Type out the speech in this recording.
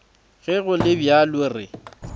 ge go le bjalo re